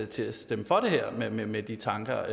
til at stemme for det her med med de tanker